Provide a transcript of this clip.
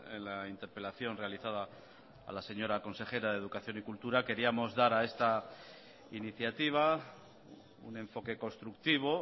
en la interpelación realizada a la señora consejera de educación y cultura queríamos dar a esta iniciativa un enfoque constructivo